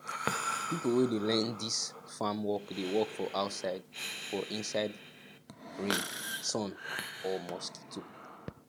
pipo wey dey learn dis farm work dey work for outside for inside rain sun or mosquito